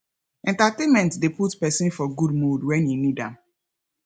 entertainment de put persin for good mood when e need am